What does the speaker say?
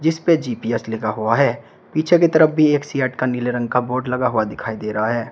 इसपे जी_पी_एस लीगा हुआ है पीछे की तरफ भी एक सीएट का नीले रंग का बोड लगा हुआ दिखाई दे रहा है।